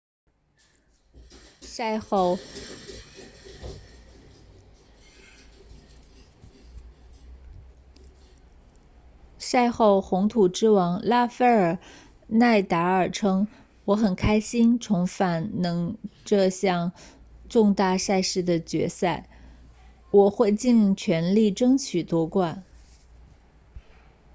赛后红土之王拉斐尔纳达尔称我很开心重返能这项重大赛事的决赛我会尽全力争取夺冠